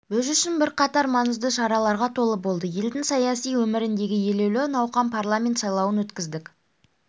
біз үшін бірқатар маңызды шараларға толы болды елдің саяси өміріндегі елеулі науқан парламент сайлауын өткіздік